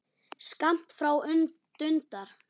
Skammt frá dundar